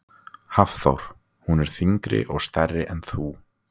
Hafþór: Hún er þyngri og stærri en þú?